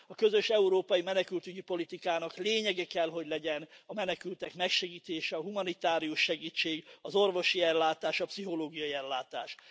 A közös európai menekültügyi politikának lényege kell, hogy legyen a menekültek megsegítése, a humanitárius segítség, az orvosi ellátás, a pszichológiai ellátás.